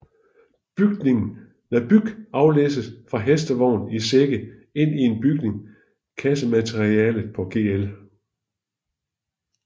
Byg aflæsses fra hestevogn i sække ind i en bygning Kassemalteriet på Gl